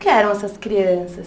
Que eram essas crianças?